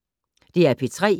DR P3